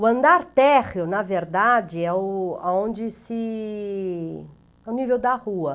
O andar térreo, na verdade, é o aonde se... é o nível da rua.